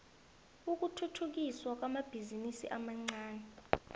ukuthuthukiswa kwamabhizinisi amancani